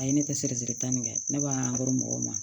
A ye ne tɛ siri siri tan nin kɛ ne ba ko mɔgɔw ma